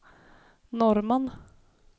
Norrman